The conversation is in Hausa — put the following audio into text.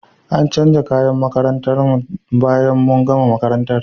An canja kayan makarantar mu bayan mun gama makarantar.